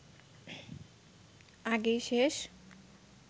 আগেই শেষ